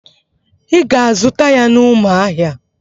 Ị ga-azụta ya n'Ụmụahịa.